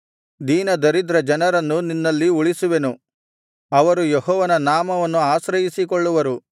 ದೀನದರಿದ್ರ ಜನರನ್ನು ನಿನ್ನಲ್ಲಿ ಉಳಿಸುವೆನು ಅವರು ಯೆಹೋವನ ನಾಮವನ್ನು ಆಶ್ರಯಿಸಿಕೊಳ್ಳುವರು